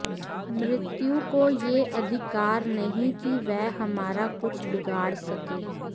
मृत्यु को यह अधिकार नहीं कि वह हमारा कुछ बिगाड़ सके